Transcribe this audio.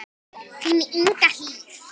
Þín Inga Hlíf.